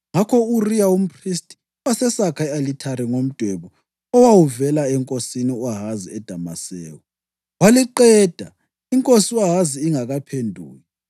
Ngakho u-Uriya umphristi wasesakha i-alithari ngomdwebo owawuvela enkosini u-Ahazi eDamaseko waliqeda inkosi u-Ahazi ingakaphenduki.